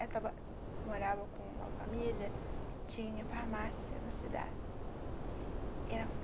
Ela morava com uma família que tinha farmácia na cidade. Ela